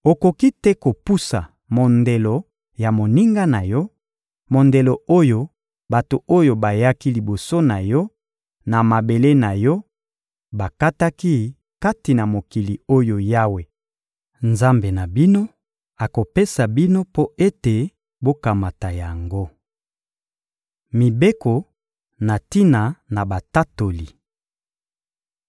Okoki te kopusa mondelo ya moninga na yo, mondelo oyo bato oyo bayaki liboso na yo na mabele na yo bakataki kati na mokili oyo Yawe, Nzambe na bino, akopesa bino mpo ete bokamata yango. Mibeko na tina na batatoli